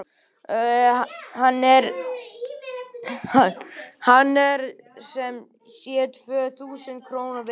Hann er sem sé tvö þúsund króna virði.